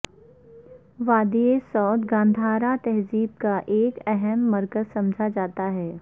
وادی سوات گندھارا تہذیب کا ایک اہم مرکز سمجھا جاتا ہے